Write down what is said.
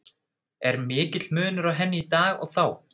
Er mikill munur á henni í dag og þá?